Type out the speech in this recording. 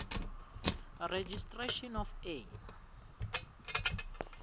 registration of a